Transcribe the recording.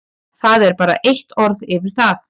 Það er bara eitt orð yfir það.